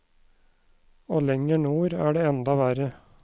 Og lenger nord er det enda verre.